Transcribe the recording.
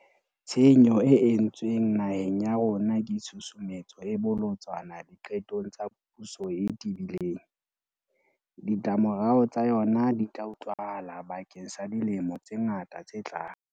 Tshenyo e entsweng naheng ya rona ke tshusumetso e bolotsana diqetong tsa puso e tebileng. Ditlamorao tsa yona di tla utlwahala bakeng sa dilemo tse ngata tse tlang.